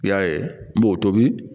I y'a ye n b'o tobi